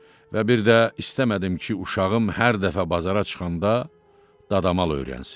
Və bir də istəmədim ki, uşağım hər dəfə bazara çıxanda dadamal öyrənsin.